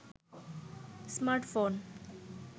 smartphone